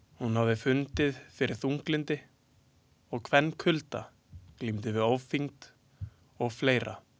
Hún hafði fundið fyrir þunglyndi og kynkulda, glímdi við ofþyngd og fleira.